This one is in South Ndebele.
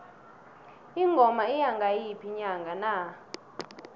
ingoma iya ngayiphi inyanga na